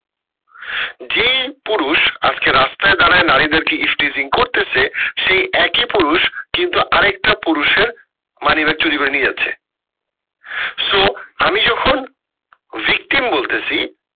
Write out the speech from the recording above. যেই পুরুষ আজকে রাস্তায় দাঁড়ায় নারীদের কে করতেসে সেই একই পুরুষ কিন্তু আরেকটা পুরুষের মানিব্যাগ চুরি করে নিয়ে যাচ্ছে so আমি যখন victim বলতেসি